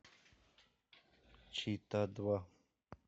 чита два